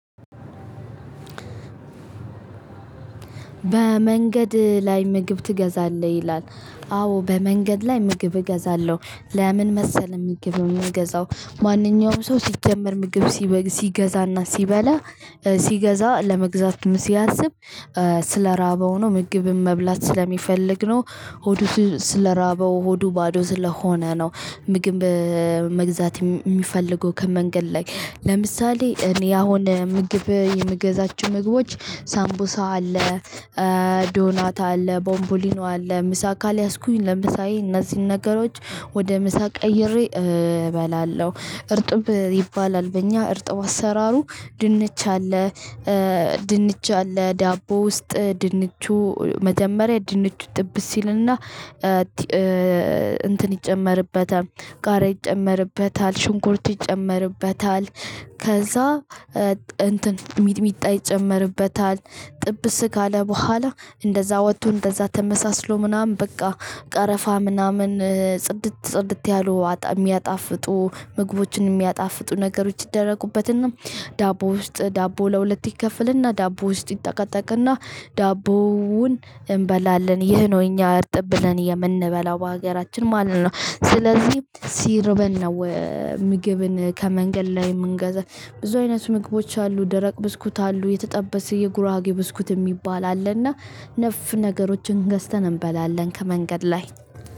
በመንገድ ላይ ምግብ ትገዛለህ ይላል? አዎ በመንገድ ላይ ምግብ እገዛለሁ። ለምን መሰለህ ምግብ የምገዛው? ማንኛውም ሰው ሲጀመር ምግብ ሲገዛና ሲበላ ሲገዛ ለመግዛትም ሲያስብ። ስለራበው ነው ምግብም መብላት ስለሚፈልግ ነው። ሆዱ ስለራበው ሆዱ ባዶ ስለሆነ ነው። ምግብ መግዛት የሚፈልገው ከመንገድ ላይ። ለምሳሌ እኔ አሁን ምግብ የምገዛቸው ምግቦች ሳምቡሳ አለ። ዶናት አለ ቦሞቦሊኖ አለ ምሳ ካልያስኩኝ ለምሳዬ እነዚህን ነገሮች ወደ ምሳ ቀይሬ እበላለሁ። እርጥብ ይባላል በኛ እርጥብ አሰራሩ ድንች አለ። ድንች አለ ዳቦ ውስጥ ድንቹ መጀመሪያ ድንቹ ጥብስ ይልና። እንትን ይጨመርበታል ጋራ ይጨመርበታል ሽንኩርት ይጨመርበታል። ከዛ እንትን ሚጥሚጣ ይጨመርበታል ጥብስ ካለ በኋላ እንደዛ ወጥቶ እንደዛ ተመሳስሎ ምናምን በቃ። ቀረፋ ምናምን ጽድት ጽድት ያሉ የሚያጣፍጡ ምግቦችን የሚያጣፍጡ ነገሮች ይደረጉበትና። ዳቦ ውስጥ ዳቦ ለሁለት ይከፈልና ዳቦ ውስጥ ይጠቀጠቅና ዳቦውን እንበላለን። ይህ ነው እኛ እርጥብ ብለን የምንበላው በሀገራችን ማለት ነው። ስለዚህ ሲርበን ነው። ምግብን ከመንገድ ላይ የምንገዛው። ብዙ አይነት ምግቦች አሉ ደረቅ ብስኩት አሉ የተጠበሰ የጉራጌ ብስኩት የሚባል አለና ነፍ ነገሮችን ገዝተን እንበላለን ከመንገድ ላይ።